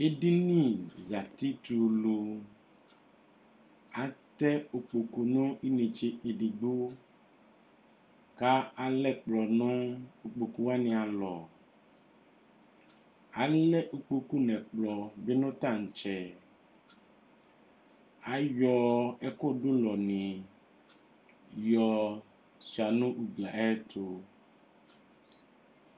Edini zati tɛ ulu. Atɛ ukpoku nʋ inetse edigbo kʋ alɛ ɛkplɔ nʋ ukpoku wanɩ alɔ. Alɛ ukpoku nʋ ɛkplɔ bɩ nʋ taŋtsɛ. Ayɔ ɛkʋdʋlɔnɩ yɔ sʋɩa nʋ ugli yɛ ayɛtʋ.